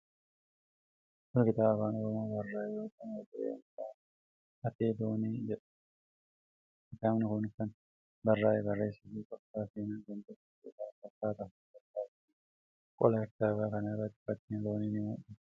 Kun kitaaba Afaan Oromoon barraa'e yoo ta'u, mata dureen isaa 'Ate-Loon' jedha. Kitaabi kun kan barraa'ee barreessaa fi qorataa seenaa kan ta'e Pirofeesar Asaffaa Tafarraa Dibaabaatiin. Qola kitaaba kanaa irratti fakkiin loonii ni mul'ata.